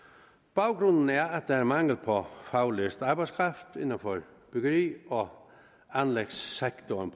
baggrunden er at der er mangel på faglært arbejdskraft inden for bygge og anlægssektoren